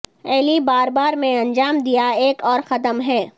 ایلی بار بار میں انجام دیا ایک اور قدم ہے